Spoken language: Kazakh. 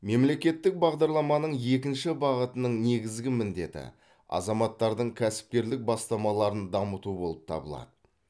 мемлекеттік бағдарламаның екінші бағытының негізгі міндеті азаматтардың кәсіпкерлік бастамаларын дамыту болып табылады